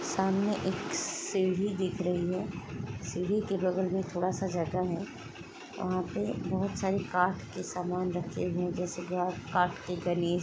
सामने एक सीढ़ी दिख रही है सीढ़ी के बगल में थोड़ा सा जगह है वहाँ पे बहुत सारे काठ के सामान रखे हुए हैं जैसे की काठ के गणेश --